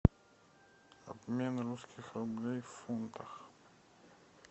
обмен русских рублей в фунтах